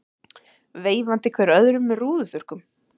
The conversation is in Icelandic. Veifandi hver öðrum með rúðuþurrkum.